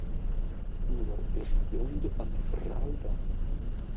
Nú var úr vöndu að ráða.